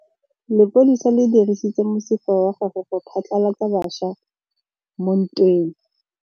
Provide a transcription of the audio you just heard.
Lepodisa le dirisitse mosifa wa gagwe go phatlalatsa batšha mo ntweng.